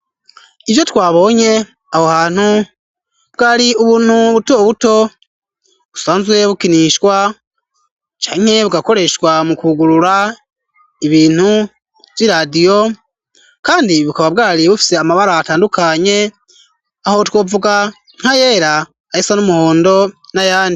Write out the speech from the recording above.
Ivyo twabonye aho hantu ,bwari ubuntu buto buto ,busanzwe bukinishwa canke bugakoreshwa mu kugurura ibintu vy'iradiyo ,kandi bukaba bwari bufise amabara atandukanye, aho twovuga nka yera ,ayasa n'umuhondo na yandi.